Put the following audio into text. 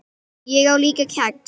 Ég á líka kex.